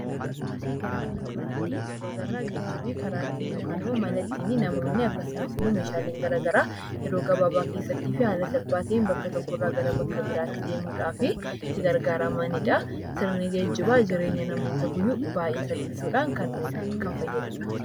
Suuraa kana irratti gijibaa agaraa. Gejibni karaa ittin yookaan mana ittin meshaleen gara garaa yeroo gababaa keessatti yeroo gabaa keessattifi haala salphaa ta'een bakka tokko irra bakka garabiratti deemidhaaf itti gargaramanidha. Sirni gejibaa jireenya namoota guyyuu baay'ee salphisuudhan kan oluudha, kan fayyadudha.